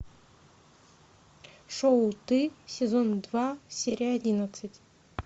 шоу ты сезон два серия одиннадцать